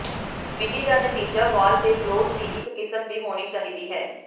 ਵਿਧੀ ਦਾ ਨਤੀਜਾ ਵਾਲ ਦੇ ਗਲੌਸ ਦੀ ਇੱਕ ਕਿਸਮ ਦੀ ਹੋਣੀ ਚਾਹੀਦੀ ਹੈ